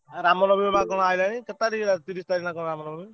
ଆଉ ରାମ ନବମୀ ବା ତମର ଆଇଲାଣି କେତେ ତାରିଖ୍ ରେ ତିରିଶ ତାରିଖ୍ ନା କଣ ରାମ ନବମୀ?